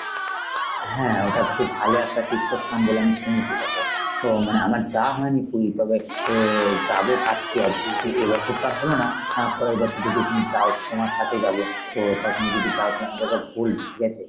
হ্যাঁ ওটাতো খুব ভালো একটা তীর্থস্থান বলে আমি শুনেছি দেখ ও মানে আমার যাওয়া হয়নি পুরী তবে এর যাব ভাবছি আরকি যে এবছর তো আর হল না আহ পরের বছর যদি তুমি যাও তো তোমার সাথেই যাব। ও তা তুমি যদি যাও তালে আমাদেরকে বলবে ঠিক আছে?